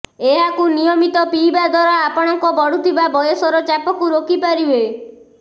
ଏହାକୁ ନିୟମିତ ପିଇବା ଦ୍ୱାରା ଆପଣଙ୍କ ବଢୁଥିବା ବୟସର ଛାପକୁ ରୋକି ପାରିବେ